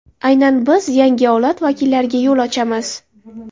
Aynan biz yangi avlod vakillariga yo‘l ochamiz.